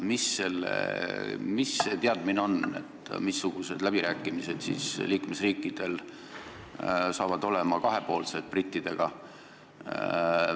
Missugused kahepoolsed läbirääkimised liikmesriikidel brittidega tulevad?